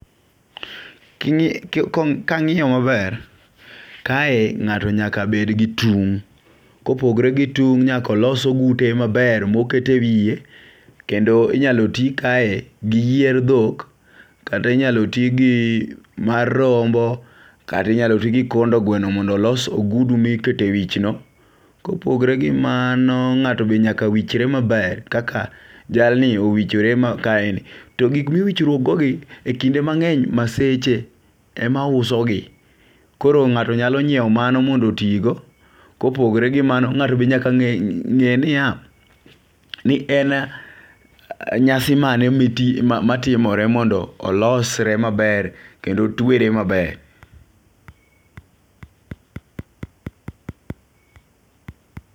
Ki kang'iyo maber kae ng'ato nyaka bed gi tung' .Kopogre gi tung nyakao los ogute maber mokete wiye kenodo inyalo tii kae gi yie dhok ,kata inyalo tii gi mar rombo ,kati nyalo tii gi kondo gweno mondo olos ogudu mikete wich no. Kopogre gi mano ng'ato be nyaka wichre maber kaka jalni owichore ma kae ni. To gik miwichruok go gi maseche emauso gi .Koro ng'ato nyalo nyiewo mano mondo otii go .Kopogore gi mano ngato be nyaka nge niya en nyasi mane mati matimore mondo olosre maber kendo otwere maber.